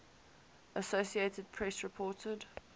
associated press reported